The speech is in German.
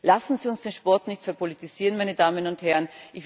Lassen Sie uns den Sport nicht verpolitisieren, meine Damen und Herren!